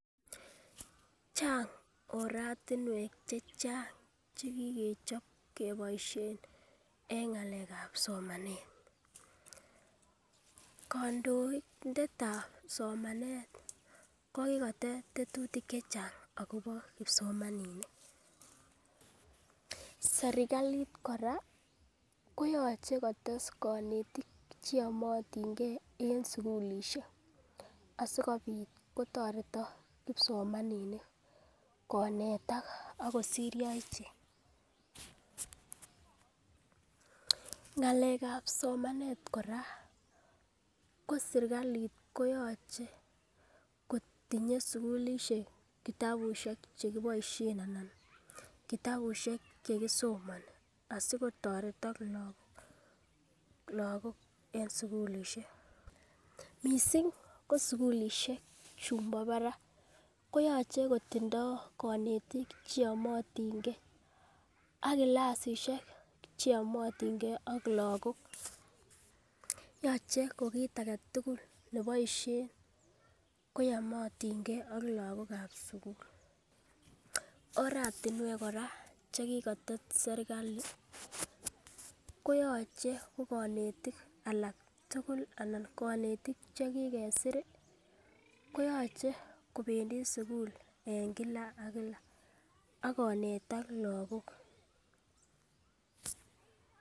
Chang oratinwek chechang chekikochop keboisien en ng'alek ab somanet, kondoindet ab somanet ko kikotet tetutik chechang akobo kipsomaninik serkalit kora koyoche kotes konetik cheyomotin gee en sukulisiek asikobit kotoretok kipsomaninik konetak ako siryo ichek ng'alek ab somanet kora ko serkalit koyoche kotinye sugulisiek kitabusiek chekiboisien anan kitabusiek chekisomoni asikotoretok lagok en sugulisiek missing ko sugulisiek chumbo barak koyoche kotindoo konetik cheyomotin gee ak clasisiek cheyomotin ak lagok yoche ko kit aketugul neboisie koyomotingee ak lagok ab sugul. Oratinwek kora chekikotet serkali koyoche ko konetik alak tugul anan konetik chekikesir koyoche kobendii sugul en kila ak kila ak konetak lagok